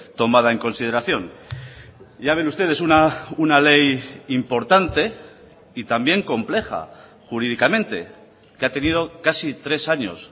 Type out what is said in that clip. tomada en consideración ya ven ustedes una ley importante y también compleja jurídicamente que ha tenido casi tres años